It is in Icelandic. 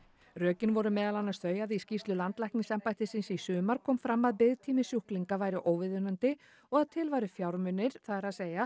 rökin voru meðal annars þau að í skýrslu landlæknisembættisins í sumar kom fram að biðtími sjúklinga væri óviðunandi og að til væru fjármunir það er